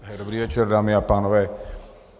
Dobrý večer, dámy a pánové.